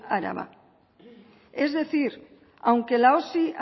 araba es decir aunque la osi